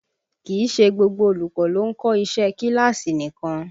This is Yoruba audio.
Kì í ṣe gbogbo olùkọ́ ló ń kọ́ iṣẹ́ ẹ kíláàsì nìkan